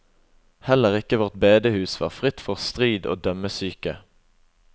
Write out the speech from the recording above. Heller ikke vårt bedehus var fritt for strid og dømmesyke.